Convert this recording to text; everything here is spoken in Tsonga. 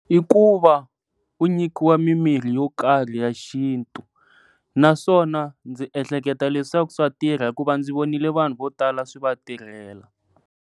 I ku va u nyikiwa mi mirhi yo karhi ya xintu, naswona ndzi ehleketa leswaku swa tirha hikuva ndzi vonile vanhu vo tala swi va tirhela.